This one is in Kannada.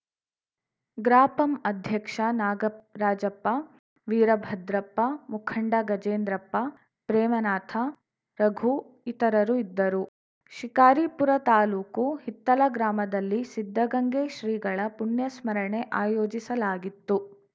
ಗ್ರಾಪಂ ಅಧ್ಯಕ್ಷ ನಾಗರಾಜಪ್ಪ ವೀರಭದ್ರಪ್ಪ ಮುಖಂಡ ಗಜೇಂದ್ರಪ್ಪ ಪ್ರೇಮನಾಥ ರಘು ಇತರರು ಇದ್ದರು ಶಿಕಾರಿಪುರ ತಾಲೂಕು ಹಿತ್ತಲ ಗ್ರಾಮದಲ್ಲಿ ಸಿದ್ಧಗಂಗೆ ಶ್ರೀಗಳ ಪುಣ್ಯಸ್ಮರಣೆ ಆಯೋಜಿಸಲಾಗಿತ್ತು